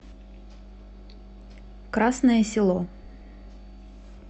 красное село